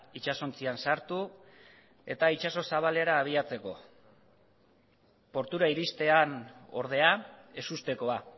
itsasontzian sartu itsaso zabalera abiatzeko portura iristean ordea ezustekoa